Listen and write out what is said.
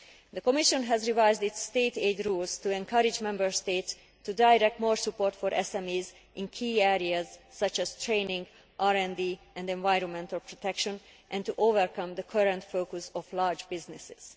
The Commission has revised its state aid rules to encourage Member States to direct more support for SMEs to key areas such as training, RD and environmental protection and to overcome the current focus on large businesses.